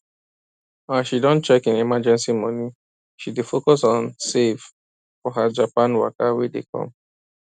as she don check im emergency money she dey focus on save for her japan waka wey dey come